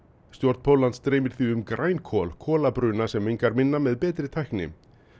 stjórn Póllands dreymir því um græn kol kol kolabruna sem mengar minna með betri tækni